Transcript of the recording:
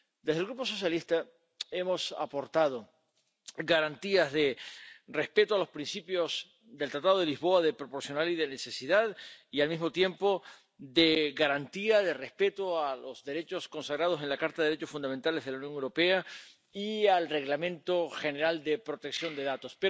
Desde el Grupo socialista hemos aportado garantías de respeto de los principios del Tratado de Lisboa de proporcionalidad y de necesidad y al mismo tiempo de garantía y de respeto de los derechos consagrados en la Carta de los Derechos Fundamentales de la Unión Europea y del Reglamento General de Protección de Datos.